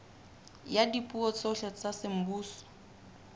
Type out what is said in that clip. ya dipuo tsohle tsa semmuso